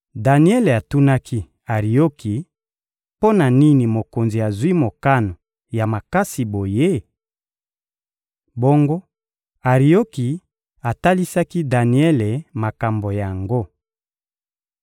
Daniele atunaki Arioki: «Mpo na nini mokonzi azwi mokano ya makasi boye?» Bongo Arioki atalisaki Daniele makambo yango.